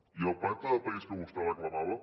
i el pacte de país que vostè reclamava